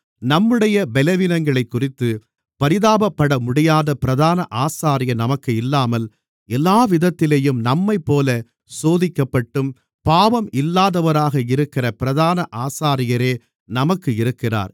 நம்முடைய பலவீனங்களைக்குறித்துப் பரிதாபப்படமுடியாத பிரதான ஆசாரியர் நமக்கு இல்லாமல் எல்லாவிதத்திலும் நம்மைப்போல சோதிக்கப்பட்டும் பாவம் இல்லாதவராக இருக்கிற பிரதான ஆசாரியரே நமக்கு இருக்கிறார்